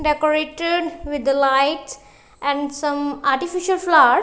decorated with the lights and some artificial flowers.